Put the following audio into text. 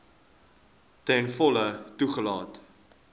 ten volle toegelaat